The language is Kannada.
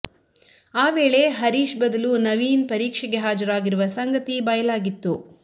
ಆ ವೇಳೆ ಹರೀಶ್ ಬದಲು ನವೀನ್ ಪರೀಕ್ಷೆಗೆ ಹಾಜರಾಗಿರುವ ಸಂಗತಿ ಬಯಲಾಗಿತ್ತು